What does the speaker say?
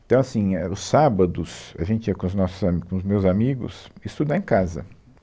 Então, assim, é, eh os sábados, a gente ia com os nossos ami, com os meus amigos, estudar em casa.